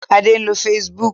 Adé ń lo Facebook.